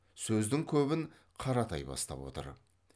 сөздің көбін қаратай бастап отыр